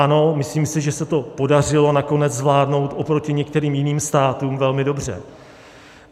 Ano, myslím si, že se to podařilo nakonec zvládnout oproti některým jiným státům velmi dobře.